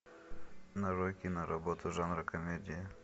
нарой киноработу жанра комедия